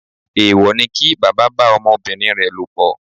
Èwò ni kí bàbá bá ọmọbìnrin rẹ̀ lòpọ̀.